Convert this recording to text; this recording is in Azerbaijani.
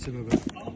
Neçə Məhəbbət?